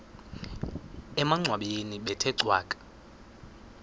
emangcwabeni bethe cwaka